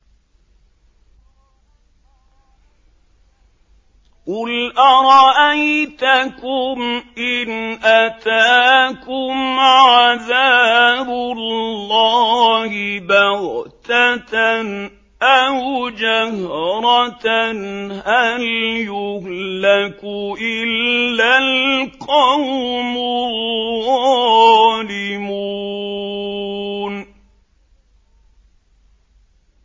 قُلْ أَرَأَيْتَكُمْ إِنْ أَتَاكُمْ عَذَابُ اللَّهِ بَغْتَةً أَوْ جَهْرَةً هَلْ يُهْلَكُ إِلَّا الْقَوْمُ الظَّالِمُونَ